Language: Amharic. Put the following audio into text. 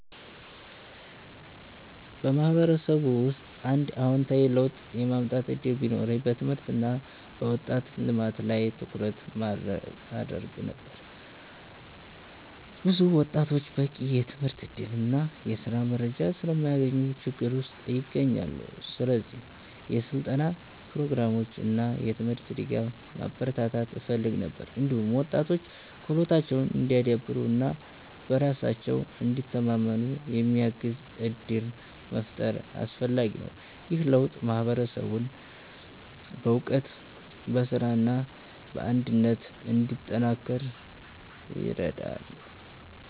በማህበረሰቤ ውስጥ አንድ አዎንታዊ ለውጥ የማምጣት እድል ቢኖረኝ በትምህርት እና በወጣቶች ልማት ላይ ትኩረት አደርግ ነበር። ብዙ ወጣቶች በቂ የትምህርት እድል እና የስራ መረጃ ስለማያገኙ ችግር ውስጥ ይገኛሉ። ስለዚህ የስልጠና ፕሮግራሞችን እና የትምህርት ድጋፍ ማበረታታት እፈልግ ነበር። እንዲሁም ወጣቶች ክህሎታቸውን እንዲያዳብሩ እና በራሳቸው እንዲተማመኑ የሚያግዙ እድሎችን መፍጠር አስፈላጊ ነው። ይህ ለውጥ ማህበረሰቡን በእውቀት፣ በስራ እና በአንድነት እንዲጠናከር ይረዳል።